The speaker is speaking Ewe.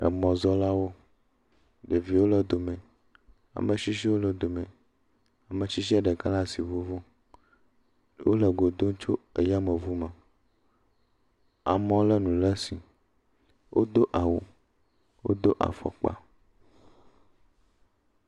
Emɔzɔlawo ɖeviwo le dome, ame tsitsiwo le dome, ame tsitsi ɖeka asi ŋuŋum. Wole go dom tso yameŋu me. Amewo le nu ɖe asi. Wodo awu, wodo afɔkpa.